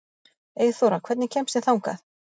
Eyþóra, hvernig kemst ég þangað?